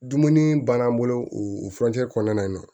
Dumuni bann'an bolo u furancɛ kɔnɔna na